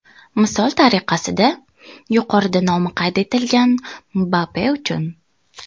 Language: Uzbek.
Misol tariqasida, yuqorida nomi qayd etilgan Mbappe uchun.